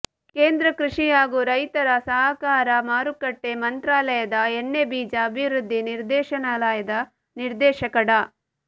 ಕೇಂದ್ರ ಕೃಷಿ ಹಾಗೂ ರೈತರ ಸಹಕಾರ ಮಾರುಕಟ್ಟೆ ಮಂತ್ರಾಲಯದ ಎಣ್ಣೆಬೀಜ ಅಭಿವೃದ್ಧಿ ನಿರ್ದೇಶನಾಲಯದ ನಿರ್ದೇಶಕ ಡಾ